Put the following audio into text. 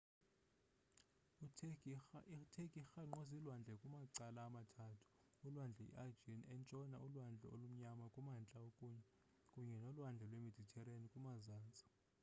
i turkey irhangqwe ziilwandle kumacala amathathu ulwandle i-aegean entshona ulwandle olumnyama kumantla kunye nolwandle lwemediterranean kumazantsi